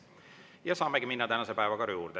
Ja saamegi minna tänase päevakorra juurde.